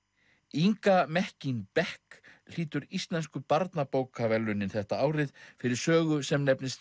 Inga Mekkín Beck hlýtur Íslensku barnabókaverðlaunin þetta árið fyrir sögu sem nefnist